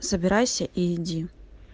собирайся иди